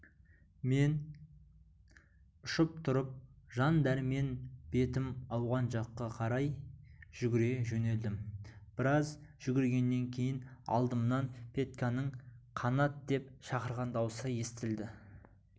мен ұшып тұрып жан дәрмен бетім ауған жаққа қарай жүгіре жөнелдім біраз жүгіргеннен кейін алдымнан петьканың қанат деп шақырған даусы естілді